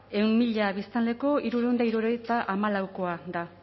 ehun mila biztanleko hirurehun eta hirurogeita hamalaukoa da